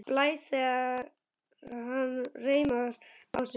Blæs þegar hann reimar á sig skóna.